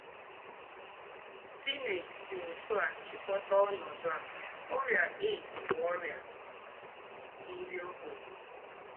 Stine sí ótú à chị̀kọ́tà ònọ́dú à: “Órị́à AIDS bú órị́à ndí́ ọ̀gbènyè.”